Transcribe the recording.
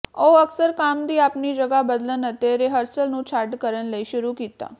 ਉਹ ਅਕਸਰ ਕੰਮ ਦੀ ਆਪਣੀ ਜਗ੍ਹਾ ਬਦਲਣ ਅਤੇ ਰਿਹਰਸਲ ਨੂੰ ਛੱਡ ਕਰਨ ਲਈ ਸ਼ੁਰੂ ਕੀਤਾ